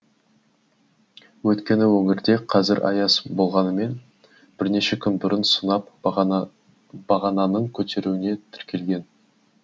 өйткені өңірде қазір аяз болғанымен бірнеше күн бұрын сынап бағананың көтеруіне тіркелген